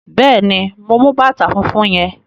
Bẹ́ẹ̀ ni, mo mú bàtà fúnfún yẹn.